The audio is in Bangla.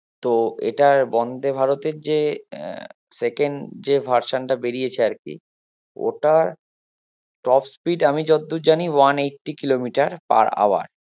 তো এটার বন্দে ভারতের যে আহ second যে version টা বেরিয়েছে আরকি ওটার top speed আমি যতদূর জানি one eighty kilometer per hour